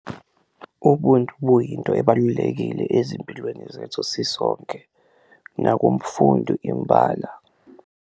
Ubuntu buyinto ebalulekile ezimpilweni zethu sisonke nakumfundi imbala.